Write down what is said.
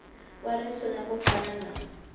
wa risuna ku fana na